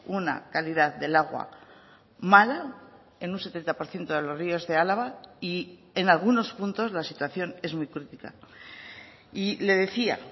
una calidad del agua mala en un setenta por ciento de los ríos de álava y en algunos puntos la situación es muy crítica y le decía